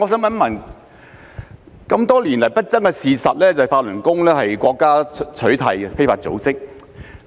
然而，多年來不爭的事實是，法輪功是已被國家取締的非法組織。